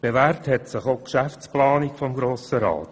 Bewährt hat sich auch die Geschäftsplanung des Grossen Rats.